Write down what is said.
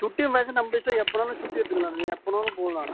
சுட்டி நம்ம இஷ்டம் எப்ப வேணும்னாலும் சுட்டி எடுத்துக்கலாம் நீ எப்ப வேணும்னாலும் போலாம்